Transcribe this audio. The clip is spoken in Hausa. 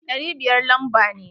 Ɗari biyar lamba ne.